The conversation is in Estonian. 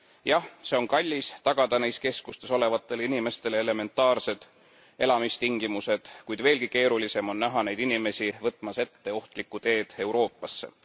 Jah, see on kallis, tagada neis keskustes olevatele inimestele elementaarsed elamistingimused, kuid veelgi keerulisem on näha neid inimesi võtmas ette ohtlikku teed Euroopasse.